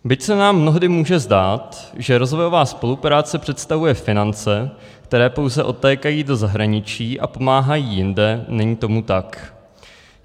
Byť se nám mnohdy může zdát, že rozvojová spolupráce představuje finance, které pouze odtékají do zahraničí a pomáhají jinde, není tomu tak.